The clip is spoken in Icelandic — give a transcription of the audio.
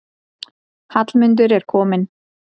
Hallmundur er kominn.